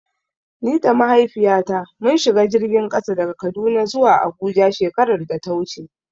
Ni da Mahaifiyata mun shiga jirgin ƙasa daga Kaduna zuwa Abuja shekarar da ta wuce.